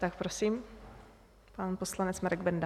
Tak prosím, pan poslanec Marek Benda.